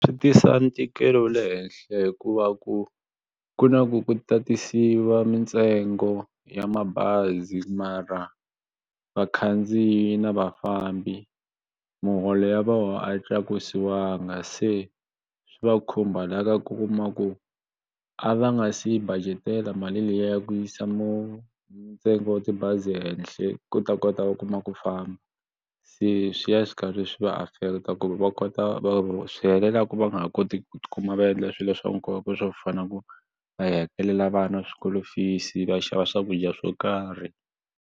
Swi tisa ntikelo wa le henhla hikuva ku ku na ku ku tatisiwa mintsengo ya mabazi mara vakhandziyi na vafambi muholo ya vona a yi tlakusiwanga se swi va khumba la ka ku kuma ku a va nga si budget-ela mali liya ya ku yisa mu ntsengo wo tibazi henhle ku ta kota ku kuma ku famba se swi ya swi karhi swi va affect ku va kota ku swi helela ka va nga ha koti ku tikuma va endle swilo swa nkoka swo fana na ku va hakelela vana swikolo fees va xava swakudya swo karhi.